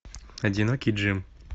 одинокий джим